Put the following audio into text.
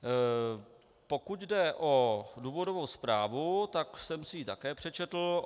Pokud jde o důvodovou zprávu, tak jsem si ji také přečetl.